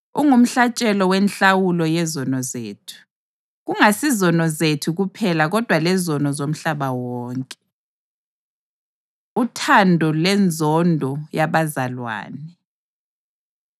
Ungumhlatshelo wenhlawulo yezono zethu, kungasizono zethu kuphela kodwa lezono zomhlaba wonke. Uthando Lenzondo Yabazalwane